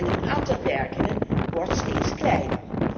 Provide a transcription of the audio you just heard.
Het aantal werkenden wordt steeds kleiner.